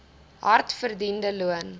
hard verdiende loon